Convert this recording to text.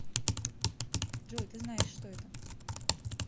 джой ты знаешь что это